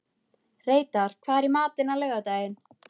Reidar, hvað er í matinn á laugardaginn?